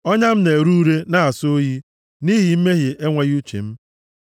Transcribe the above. Ọnya m na-ere ure na-asọ oyi nʼihi mmehie enweghị uche m.